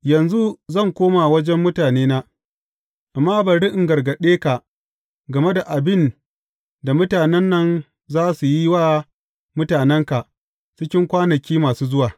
Yanzu zan koma wajen mutanena, amma bari in gargaɗe ka game da abin da mutanen nan za su yi wa mutanenka cikin kwanaki masu zuwa.